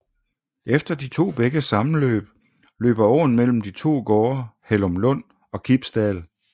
Efter de to bækkes sammenløb løber åen mellem de to gårde Hellumlund og Kibsdal